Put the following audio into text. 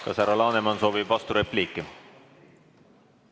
Kas härra Laneman soovib vasturepliiki?